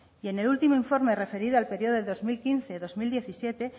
y en el último informe referido al periodo de dos mil quince dos mil diecisiete